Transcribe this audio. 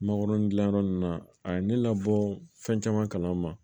Mangoron dilan yɔrɔ ninnu na a ye ne labɔ fɛn caman kalan